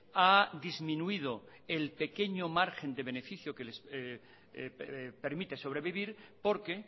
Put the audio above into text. ha disminuido el pequeño margen de beneficio que les permite sobrevivir porque